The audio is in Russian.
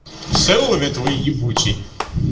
ксяоми твой ебучий